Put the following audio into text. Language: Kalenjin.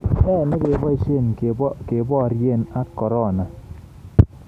Ne negeboisye keboirye ak korona?